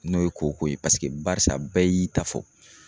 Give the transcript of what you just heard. N'o ye koko ye paseke barisa bɛɛ y'i ta fɔ